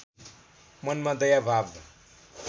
मनमा दया भाव